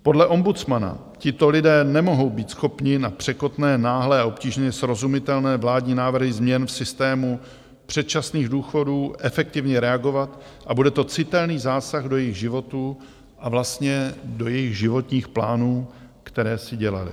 Podle ombudsmana tito lidé nemohou být schopni na překotné, náhlé a obtížně srozumitelné vládní návrhy změn v systému předčasných důchodů efektivně reagovat a bude to citelný zásah do jejich životů a vlastně do jejich životních plánů, které si dělali.